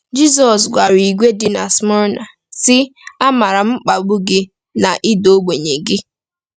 Jizọs gwara ìgwè dị na Smyrna, sị: “Amaara m mkpagbu gị na ịda ogbenye gị.”